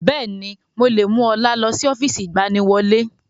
Bẹ́ẹ̀ni, mo lè mú ọlá lọ sí ọ́fíìsì ìgbaniwọlé